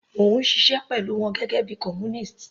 Mò ń ṣiṣẹ́ pẹ̀lú wọn gẹ́gẹ́ bíi columnist.